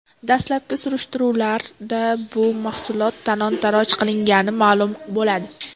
Dastlabki surishtiruvlarda bu mahsulotlar talon-toroj qilingani ma’lum bo‘ladi.